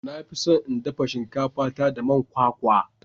Na fi son in dafa shinkafa ta da man kwakwa.